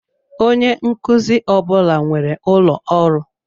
Onye nkuzi ọ bụla nwere ụlọ ọrụ.